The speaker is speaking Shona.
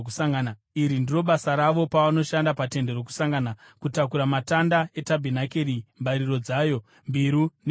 Iri ndiro basa ravo pavanoshanda paTende Rokusangana: kutakura matanda etabhenakeri, mbariro dzayo, mbiru nehwaro,